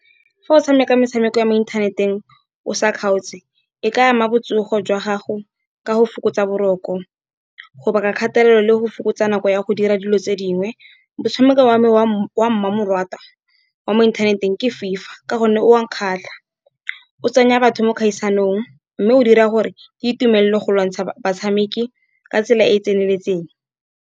Fa o tshameka metshameko ya mo inthaneteng o sa kgaotse, e ka ama botsogo jwa gago ka go fokotsa boroko. Go baka kgatelelo le go fokotsa nako ya go dira dilo tse dingwe. Motshameko wa me wa mmamoratwa wa mo inthaneteng ke FIFA, ka gonne o nkgatlha, o tsenya batho mo dikgaisanong, mme o dira gore ke itumelele go lwantsha batshameki ka tsela e e tseneletseng.